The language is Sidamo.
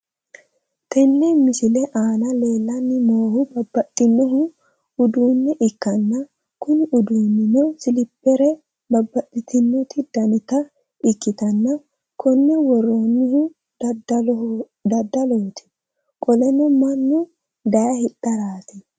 Tenne misile aana leellanni noohu babbaxxino uduunne ikkanna kuni uduunnino siliphere babbaxxitino danita ikkitanna konne worroonnihu daddalooti qoleno mannu dayee hidharaati.